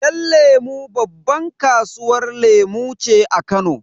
Yan lemu babban kasuwar lemu ce a Kano.